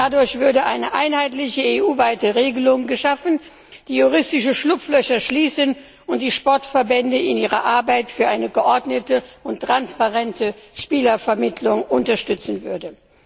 Dadurch würde eine einheitliche EU weite Regelung geschaffen, die juristische Schlupflöcher schließen und die Sportverbände in ihrer Arbeit für eine geordnete und transparente Spielervermittlung unterstützen würde.